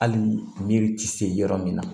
Hali ni yiri ti se yɔrɔ min na